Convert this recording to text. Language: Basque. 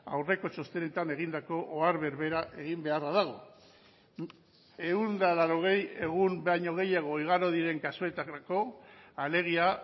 aurreko txostenetan egindako ohar berbera egin beharra dago ehun eta laurogei egun baino gehiago igaro diren kasuetarako alegia